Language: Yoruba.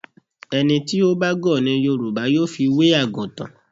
Ẹni tí ó bá gọ̀ ni Yorùbá yóò fi wé àgùtàn.